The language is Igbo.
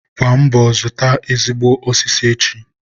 Gbaa mbọ zụta ezigbo osisi echi!